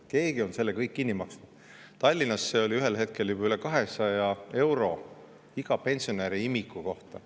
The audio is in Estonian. Keegi on selle kõik kinni maksnud, Tallinnas oli selleks ühel hetkel juba üle 200 euro iga pensionäri ja ka imiku kohta.